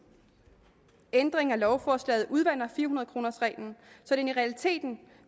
ændringen af lovforslaget udvander fire hundrede kronersreglen så den i realiteten